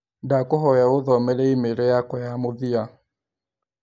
Ndakũhoya ũthomere i-mīrū yakwa ya mũthia?